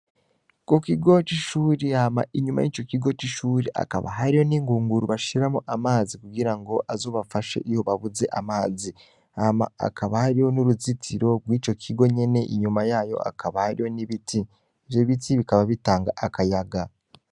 Ku kigo c'ishuri, hama inyuma y'ico kigo c'ishuri hakaba hariyo n'ingunguru bashiramwo amazi kugira ngo azobafashe iyo babuze amazi. Hama hakaba hariyo n'uruzitiro rw'ico kigo nyene, inyuma yayo hakaba hariyo ibiti. Ivyo biti bikaba bitanga akayaga.